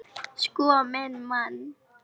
Sko minn mann!